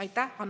Aitäh!